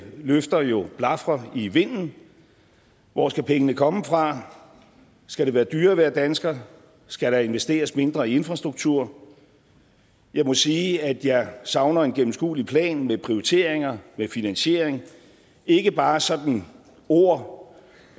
løfter jo blafrer i vinden hvor skal pengene komme fra skal det være dyrere at være dansker skal der investeres mindre i infrastruktur jeg må sige at jeg savner en gennemskuelig plan med prioriteringer med finansiering ikke bare sådan ord